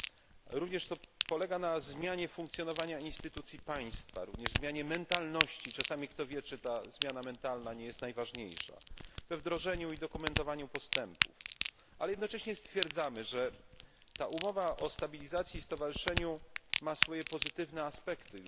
Polega to również na zmianie funkcjonowania instytucji państwa, zmianie mentalności czasami, kto wie, czy ta zmiana mentalności nie jest najważniejsza wdrażaniu i dokumentowaniu postępów. Jednocześnie stwierdzamy, że ta umowa o stabilizacji i stowarzyszeniu ma swoje pozytywne aspekty.